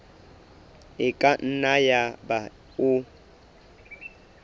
e ka nna yaba o